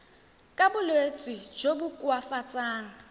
ka bolwetsi jo bo koafatsang